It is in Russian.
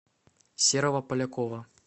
серого полякова